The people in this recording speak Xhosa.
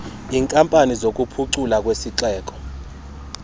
iinkampani zokuphuculwa kwezixeko